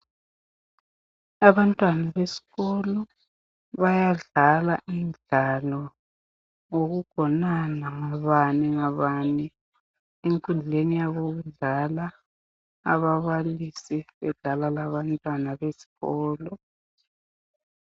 abantwana besikolo bayadlal imdlalo yokugonana ngobaningobani enkundleni yabo yokudlala ababalisi bedlala labantwana besikolo